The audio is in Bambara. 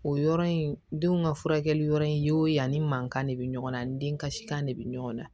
O yɔrɔ in denw ka furakɛli yɔrɔ in ye o yanni mankan de bɛ ɲɔgɔn na ni den kasikan de bɛ ɲɔgɔn na